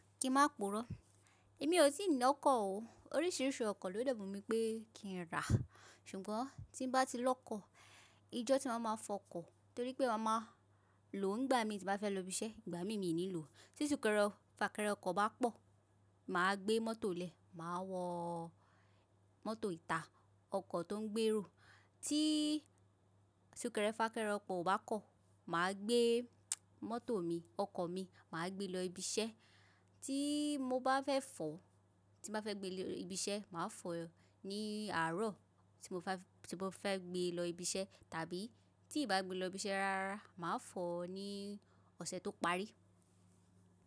Kí ma puró. Èmi ò tíì ní ọkọ̀ o. Oríṣiríṣi ọkọ̀ ló de wumi pé kí n rà, ṣùgbọ́n tí n bá ti lọ́kọ̀, ijọ́ tíwa máa má fọkọ̀ torí pé ma máa lò ó nígbà mí tí n bá fẹ́ lọ ibi iṣẹ́, ìgbàmí mi ò ní lò ó. Tí súkẹrẹ fàkẹrẹ ọkọ̀ bá pọ̀, màá gbé mọ́tò lè, màá wọ mọ́tò ìta, ọkọ̀ tó ń gbèrò. Tí súkẹrẹ fàkẹrẹ ọkọ̀ ò bá kọ̀, màá gbé mọ́tò mi, ọkọ̀ mi, màá gbé lọ ibi iṣẹ́. Tí mo bá fẹ́ fọ̀, tí n bá fẹ́ gbé lọ ibi iṣẹ́, màá fọ̀ ọ́ ní àárọ̀ tí mo fẹ́ gbé lọ ibi iṣẹ́ tàbí tí nbá gbé lọ ibi iṣẹ́ rárá, màá fọ̀ọ́ ní ọ̀sẹ̀ tó parí.